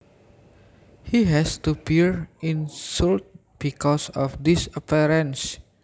He has to bear insults because of his appearance